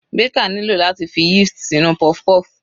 Baker nílò láti fi yeast sínú puff-puff.